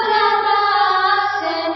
suhasini sweet talker